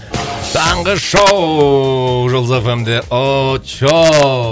таңғы шоу жұлдыз эф эм де очоу